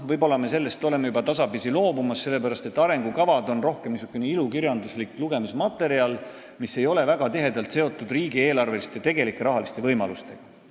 Võib-olla me oleme sellest juba tasapisi loobumas, sest arengukavad on rohkem niisugune ilukirjanduslik lugemismaterjal, mis ei ole väga tihedalt seotud tegelike riigieelarveliste rahaliste võimalustega.